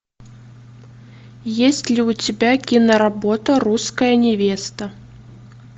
есть ли у тебя киноработа русская невеста